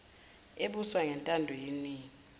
ebuswa ngentando yeningi